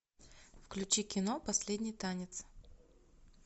включи кино последний танец